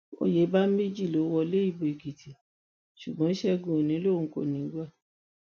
oyèbáméjì ló wọlé ìbò èkìtì ṣùgbọn ṣẹgun òní lòun kò ní í gbà